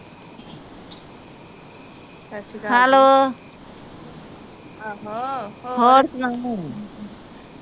hello ਹੋਰ ਸੁਣਾ